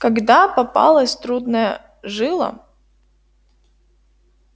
когда попалась трудная жила